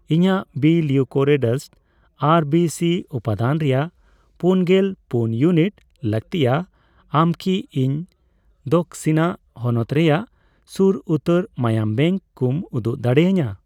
ᱤᱧᱟᱜ ᱵᱤᱼ ᱞᱤᱣᱩᱠᱚᱨᱮᱰᱟᱥᱰ ᱟᱨ ᱵᱤ ᱥᱤ ᱩᱯᱟᱹᱫᱟᱹᱱ ᱨᱮᱭᱟᱜ ᱯᱩᱱᱜᱮᱞ ᱯᱩᱱ ᱤᱭᱩᱱᱤᱴ ᱞᱟᱹᱜᱛᱤᱭᱟ, ᱟᱢ ᱠᱤ ᱤᱧ ᱫᱚᱠᱥᱤᱱᱟ ᱦᱚᱱᱚᱛ ᱨᱮᱭᱟᱜ ᱥᱩᱨ ᱩᱛᱟᱹᱨ ᱢᱟᱭᱟᱢ ᱵᱮᱝᱠ ᱠᱚᱢ ᱩᱫᱩᱜ ᱫᱟᱲᱮᱭᱟᱹᱧᱟ ?